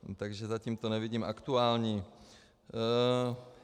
Takže zatím to nevidím aktuální.